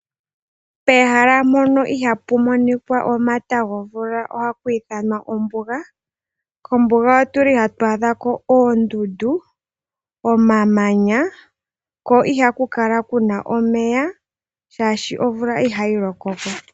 Pehala mpono ihaapu monika omata gomvula ohapu ithanwa ombuga. Kombuga ohatu adha ko oondundu, omamanya ko ihaku kala ku na omeya, oshoka omvula ihayi loko ko.